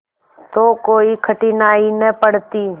तो कोई कठिनाई न पड़ती